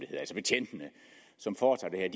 betjentene som foretager det her